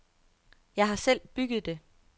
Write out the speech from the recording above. Jeg har selv bygget det.